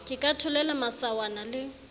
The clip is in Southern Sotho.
ke ka tholela masawana le